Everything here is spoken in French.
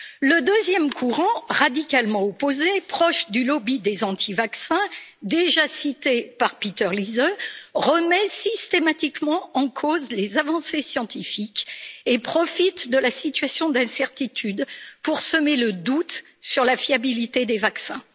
Le deuxième courant, radicalement opposé, proche du lobby des anti vaccins déjà cité par Peter Liese, remet systématiquement en cause les avancées scientifiques et profite de la situation d'incertitude pour semer le doute sur la fiabilité des vaccins.